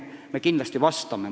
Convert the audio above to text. Me kindlasti vastame.